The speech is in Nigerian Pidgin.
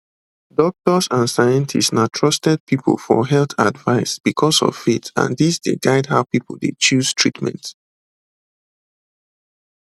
doctors and scientists na trusted people for health advice because of faith and dis dey guide how people dey choose treatment